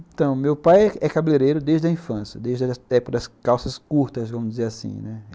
Então, meu pai é cabeleireiro desde a infância, desde a época das calças curtas, vamos dizer assim, né.